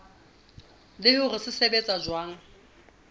le hore se sebetsa jwang